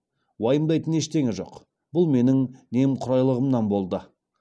уайымдайтын ештеңе жоқ бұл менің немқұрайлығымнан болды